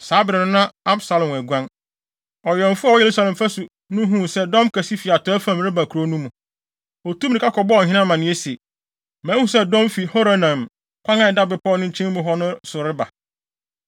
Saa bere no, na Absalom aguan. Ɔwɛmfo a ɔwɔ Yerusalem fasu so no huu sɛ dɔm kɛse fi atɔe fam reba kurow no mu. Otuu mmirika kɔbɔɔ ɔhene amanneɛ se, “Mahu sɛ dɔm fi Horonaim kwan a ɛda bepɔw no nkyɛn mu hɔ no so reba.”